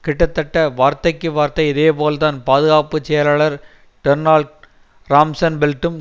கிட்டத்தட்ட வார்த்தைக்கு வார்த்தை இதேபோல்தான் பாதுகாப்பு செயலாளர் டொனால்ட் ரம்ஸன்பெல்டும்